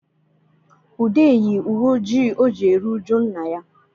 Ude yi uwe ojii o ji eri ụjụ nna ya